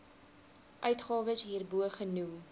uitgawes hierbo genoem